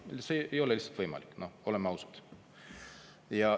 See ei ole lihtsalt võimalik, oleme ausad.